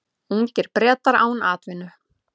Ungir Bretar án atvinnu